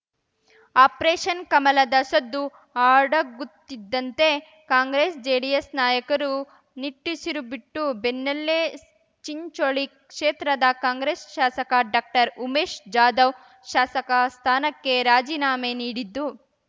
operation ಕಮಲದ ಸದ್ದು ಅಡಗುತ್ತಿದ್ದಂತೆ ಕಾಂಗ್ರೆಸ್ ಜೆಡಿಎಸ್ ನಾಯಕರು ನಿಟ್ಟುಸಿರುಬಿಟ್ಟ ಬೆನ್ನಲ್ಲೇ ಚಿಂಚೋಳಿ ಕ್ಷೇತ್ರದ ಕಾಂಗ್ರೆಸ್ ಶಾಸಕ ಡಾಕ್ಟರ್ ಉಮೇಶ್ ಜಾಧವ್ ಶಾಸಕ ಸ್ಥಾನಕ್ಕೆ ರಾಜೀನಾಮೆ ನೀಡಿದ್ದು